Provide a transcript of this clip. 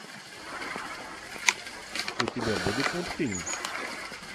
у тебя будет мультфильм